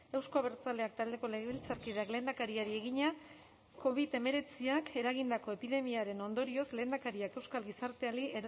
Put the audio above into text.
euzko abertzaleak taldeko legebiltzarkideak lehendakariari egina covid hemeretziak eragindako epidemiaren ondorioz lehendakariak euskal gizarteari